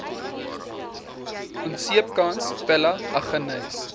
onseepkans pella aggeneys